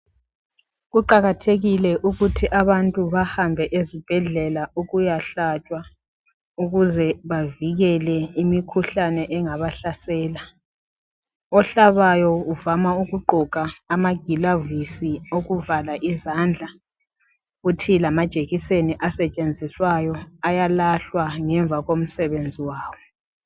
Kuqakathekile ukuthi abantu bahambe ezibhedlela ukuyahlatshwa, ukuze bavikele imikhuhlane engabahlasela. Ohlabayo uvama ukuqgoka amagilavisi okuvala izandla kuthi lamajekiseni asetshenziswayo ayalahlwa ngemva komsebenzi wawo.